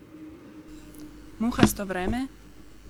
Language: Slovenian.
Muhasto vreme?